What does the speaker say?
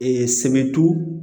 sɛbɛ tu